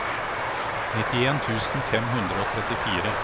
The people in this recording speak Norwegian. nittien tusen fem hundre og trettifire